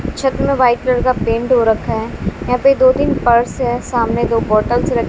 छत में white colour का पेंट हो रखा है यहां पे दो तीन पर्स है सामने दो बॉटल्स र--